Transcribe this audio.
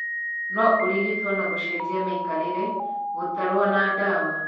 No ũrigitwo na gũcenjia mĩikarĩre, gũtarwo na ndawa